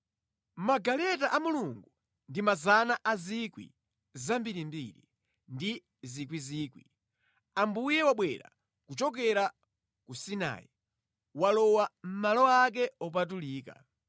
Magaleta a Mulungu ndi osawerengeka, ndi miyandamiyanda; Ambuye wabwera kuchokera ku Sinai, walowa mʼmalo ake opatulika.